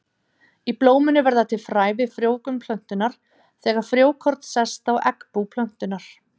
Í blóminu verða til fræ við frjóvgun plöntunnar, þegar frjókorn sest á eggbú plöntunnar.